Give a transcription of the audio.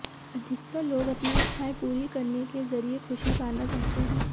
अधिकतर लोग अपनी इच्छाएं पूरी करनेके जरिए खुशी पाना चाहते हैं